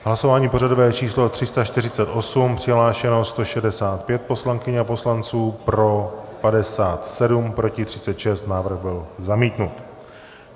Hlasování pořadové číslo 348, přihlášeno 165 poslankyň a poslanců, pro 57, proti 36, návrh byl zamítnut.